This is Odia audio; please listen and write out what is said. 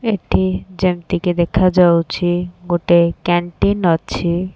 ଏଠି ଯେମିତି କି ଦେଖାଯାଉଛି କ୍ୟାଣ୍ଟିଁ ଅଛି।